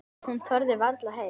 Hún þorði varla heim.